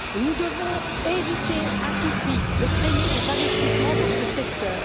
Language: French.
Nous devons éviter à tout prix de freiner les investissements dans ce secteur.